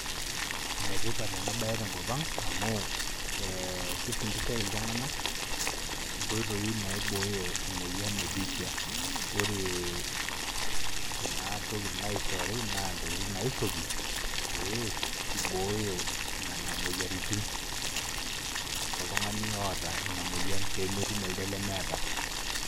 Enetipat enabae tenkol aang amu kifundishae ltunganak nkoitoi naibooyo emoyian ebiitia, ee kuna tokitin naishori na peibooyo nona moyiaritin toltunganak oota inamoyian pemetum elde oata.